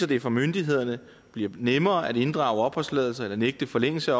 det for myndighederne bliver nemmere at inddrage opholdstilladelser eller nægte forlængelse